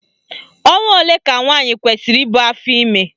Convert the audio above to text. Ọnwa ole ka nwaanyị kwesiri ibu afọime?